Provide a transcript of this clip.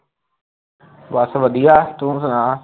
ਬਸ ਵਧੀਆ ਤੂੰ ਸੁਣਾ